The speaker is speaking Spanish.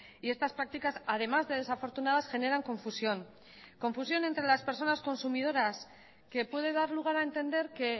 y estas prácticas además de desafortunadas generan confusión confusión entre las personas consumidoras que puede dar lugar a entender que